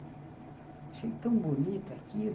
Achei tão bonito aquilo.